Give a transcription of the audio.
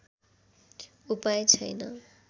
उपाय छैन्